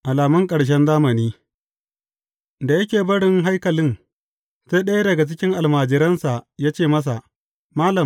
Alamun ƙarshen zamani Da yake barin haikalin, sai ɗaya daga cikin almajiransa ya ce masa, Malam!